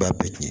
Ba bɛɛ tiɲɛ